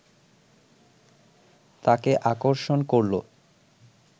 তাকে আকর্ষণ করলো